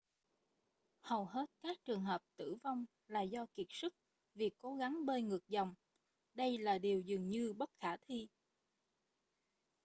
hầu hết các trường hợp tử vong là do kiệt sức vì cố gắng bơi ngược dòng đây là điều dường như bất khả thi